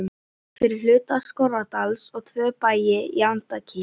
fyrir hluta Skorradals og tvo bæi í Andakíl.